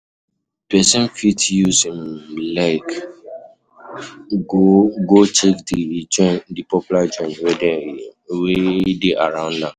Person fit use im leg go go check di popular joints wey dey around am